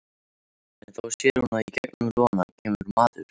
En þá sér hún að í gegnum logana kemur maður.